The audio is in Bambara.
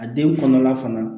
A den kɔnɔla fana